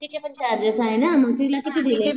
तिचेपन charges आहे ना? तिला किती दिले?